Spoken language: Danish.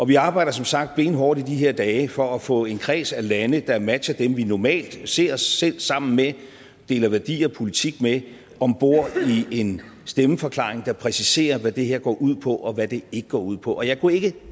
vi arbejder som sagt benhårdt i de her dage for at få en kreds af lande der matcher dem vi normalt ser os selv sammen med deler værdier og politik med om bord i en stemmeforklaring der præciserer hvad det her går ud på og hvad det ikke går ud på jeg kunne ikke